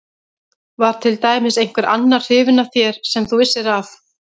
Var til dæmis einhver annar hrifinn af þér sem þú vissir af?